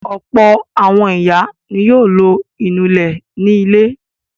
Ọ̀pọ̀ àwọn ìyá ni yóò lo ìnulẹ̀ ní ilé.